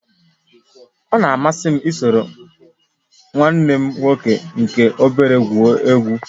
Ọ na-amasị m isoro nwanne m nwoke nke obere egwu egwu